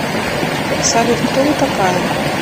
салют кто вы такая